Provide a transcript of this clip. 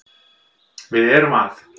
Við erum að